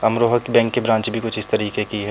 अमरोहक bank की branch भी कुछ इस तरिके की है।